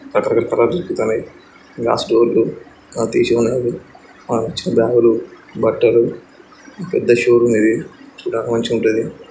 రకరకాల కలర్లు కనిపిస్తున్నాయి గ్లాస్ డోర్లు తీసే ఉన్నాయి మంచి బ్యాగులు బట్టలు పెద్ద షోరూం ఇది ఇక్కడ మంచిగా ఉంటది.